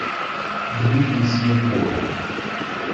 дмитрий синяков